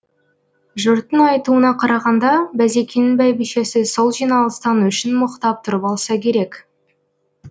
жұрттың айтуына қарағанда базекеңнің бәйбішесі сол жиналыстан өшін мықтап тұрып алса керек